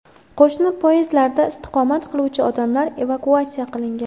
Qo‘shni podyezdlarda istiqomat qiluvchi odamlar evakuatsiya qilingan.